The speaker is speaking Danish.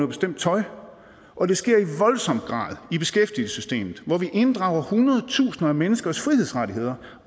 bestemt tøj og det sker i voldsom grad i beskæftigelsessystemet hvor vi inddrager hundred tusinder af menneskers frihedsrettigheder